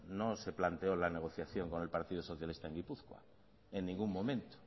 no se planteó en la negociación con el partido socialista en gipuzkoa en ningún momento